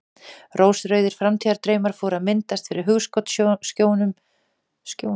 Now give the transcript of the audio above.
Rósrauðir framtíðardraumar fóru að myndast fyrir hugskotssjónum Stjána: Vikuleg heimsókn í þetta hús.